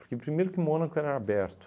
Porque primeiro que Mônaco era aberto.